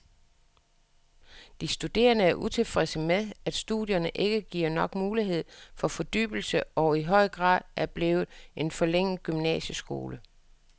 De studerende er utilfredse med, at studierne ikke giver nok mulighed for fordybelse og i for høj grad er blevet en forlænget gymnasieskole.